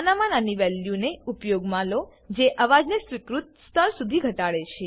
નાનામાં નાની વેલ્યુને ઉપયોગમાં લો જે અવાજને સ્વીકૃત સ્તર સુધી ઘટાડે છે